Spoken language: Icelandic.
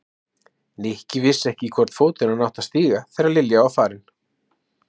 Nikki vissi ekki í hvorn fótinn hann átti að stíga þegar Lilja var farin.